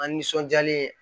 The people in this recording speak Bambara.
An nisɔndiyalen